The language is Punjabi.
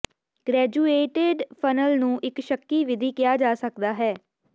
ਗ੍ਰੈਜੂਏਟਿਡ ਫਨਲ ਨੂੰ ਇਕ ਸ਼ੱਕੀ ਵਿਧੀ ਕਿਹਾ ਜਾ ਸਕਦਾ ਹੈ